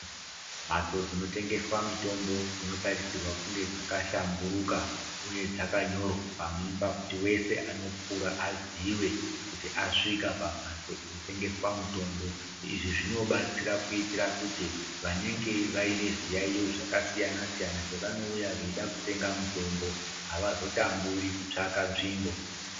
Mbatso dzinotengeswa mitombo dzinotarisirwa kunge dzakahlamburuka uye dzakanyorwa kuti wese anopfuura azive kuti asvika pambatso inotengeswa mitombo izvi zvinobatsira kuitira kuti vanenge vaine zviyaiyo zvakasiyana siyana pavanouya vachida kutenga mitombo avazotamburi kutsvaka tsvimbo.